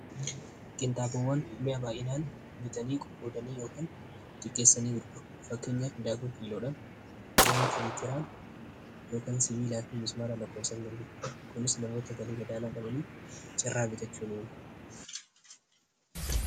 Qenxaabowwan mi'a baa'inaan bitanii qoqqoodanii yookiin xiqqeessanii gurguru fakkeenya daakuu kiiloodhan zaayitaa litiraan yookan sibiilaafi mismaara lakkoofsan garguru kunis namoota galii gadaanaa gabanii carraa bitachuu ni uuma